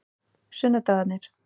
sunnudagarnir